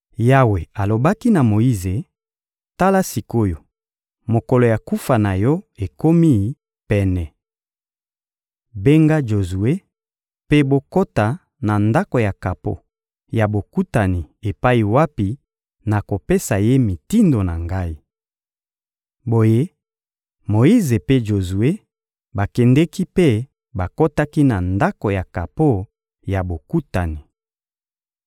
Yawe alobaki na Moyize: «Tala sik’oyo, mokolo ya kufa na yo ekomi pene. Benga Jozue, mpe bokota na Ndako ya kapo ya Bokutani epai wapi nakopesa ye mitindo na Ngai.» Boye Moyize mpe Jozue bakendeki mpe bakotaki na Ndako ya kapo ya Bokutani.